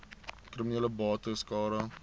kriminele bates cara